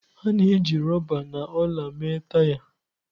A na-eji rọba na ọla mee taya.